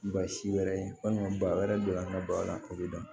Ba si wɛrɛ ye walima ba wɛrɛ donna an ka ba la o bɛ dan